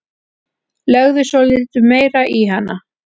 Legðu svolítið meira í hana.